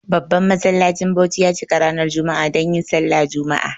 Babban masallacin Bauchi ya cika ranar jumma'a donyin sallah jumma'a.